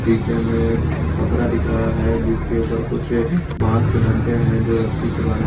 पीछे में छपरा दिख रहा है जिसके ऊपर कुछ बांस के डंडे हैं जो रस्सी से बना --